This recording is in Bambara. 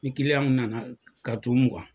Ni nana ka tunun